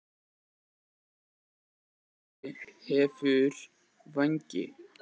Niðurstaða: Snati hefur vængi.